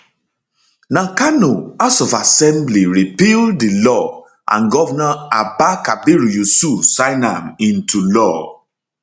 na kano house of assembly repeal di law and govnor abba kabir yusuf sign am into am into law